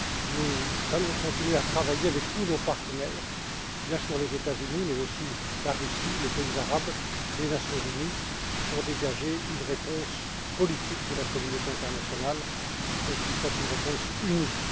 Nous allons continuer à travailler avec tous nos partenaires, les États Unis, bien sûr, mais aussi la Russie, les pays arabes, les Nations Unies, pour dégager une réponse politique de la communauté internationale, qui soit une réponse unie.